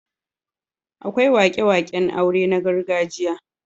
Akwai wake-waken aure na gargajiya.